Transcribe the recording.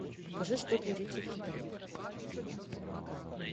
покажи что творится в китае